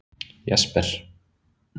Jesper